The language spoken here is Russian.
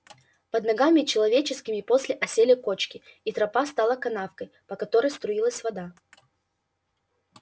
под ногами человеческими после осели кочки и тропа стала канавкой по которой струилась вода